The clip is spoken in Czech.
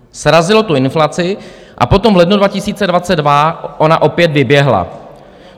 Srazilo tu inflaci a potom v lednu 2022 ona opět vyběhla.